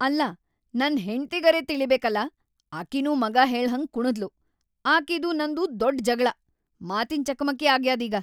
ಅಲ್ಲಾ ನನ್‌ ಹೆಂಡ್ತಿಗರೇ ತಿಳೀಬೇಕಲಾ ಅಕಿನೂ ಮಗಾ ಹೇಳ್ಹಂಗ್ ಕುಣದ್ಲು ಆಕೀದೂ ನಂದೂ ದೊಡ್ಡ್‌ ಜಗಳಾ‌, ಮಾತಿನ್ ಚಕಮಕಿ ‌ಆಗ್ಯಾದೀಗ.